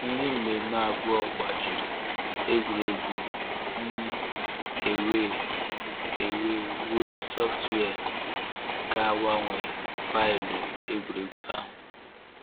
Ndị mmemme abụọ gbajiri egwuregwu um a wee a wee wuo sọftụwia ga-agbanwe faịlụ egwuregwu ahụ.